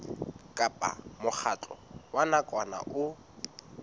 kapa mokgatlo wa nakwana o